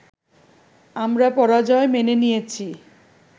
আমরা পরাজয় মেনে নিয়েছি